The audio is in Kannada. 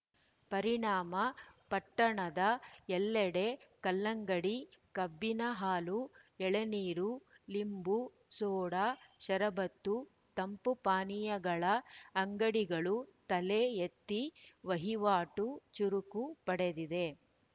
ಪರಿಣಾಮ ಪಟ್ಟಣದ ಎಲ್ಲೆಡೆ ಕಲ್ಲಂಗಡಿ ಕಬ್ಬಿನ ಹಾಲು ಎಳನೀರು ಲಿಂಬು ಸೋಡಾ ಶರಬತ್ತು ತಂಪು ಪಾನೀಯಗಳ ಅಂಗಡಿಗಳು ತಲೆ ಎತ್ತಿ ವಹಿವಾಟು ಚುರುಕು ಪಡೆದಿದೆ